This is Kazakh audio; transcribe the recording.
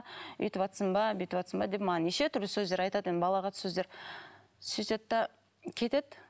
өйтіватсың ба бүйтіватсың ба деп маған неше түрлі сөздер айтады енді балағат сөздер сөйтеді де кетеді